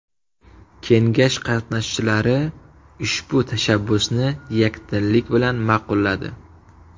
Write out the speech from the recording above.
Kengash qatnashchilari ushbu tashabbusni yakdillik bilan ma’qulladi.